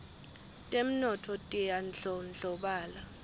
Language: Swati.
temnotfo tiyandlondlobala